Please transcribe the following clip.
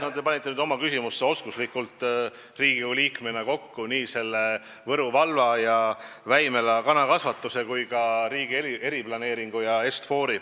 No te panite nüüd Riigikogu liikmena oskuslikult oma küsimusse kokku Võru valla ja Väimela kanakasvanduse ja riigi eriplaneeringu ja Est-Fori.